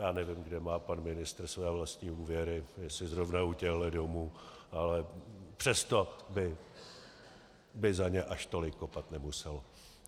Já nevím, kde má pan ministr své vlastní úvěry, jestli zrovna u těchto domů, ale přesto by za ně až tolik kopat nemusel.